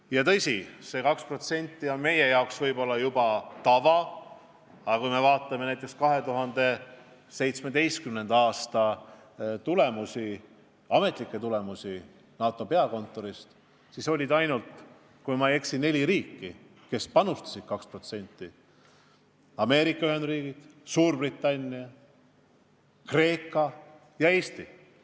Ja tõsi, see 2% on meie jaoks võib-olla juba tava, aga kui me vaatame näiteks 2017. aasta ametlikke andmeid, mis on saadud NATO peakontorist, siis oli ainult, kui ma ei eksi, neli riiki, kes panustasid 2%: Ameerika Ühendriigid, Suurbritannia, Kreeka ja Eesti.